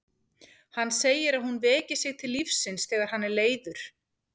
Hann segir að hún veki sig til lífsins þegar hann er leiður.